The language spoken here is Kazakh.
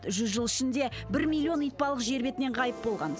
жүз жыл ішінде бір миллион итбалық жер бетінен ғайып болған